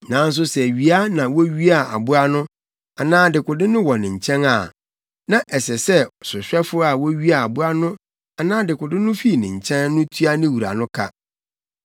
Nanso sɛ wia na wowiaa aboa no anaa dekode no wɔ ne nkyɛn de a, na ɛsɛ sɛ sohwɛfo a wowiaa aboa no anaa dekode no fii ne nkyɛn no tua ne wura no ka.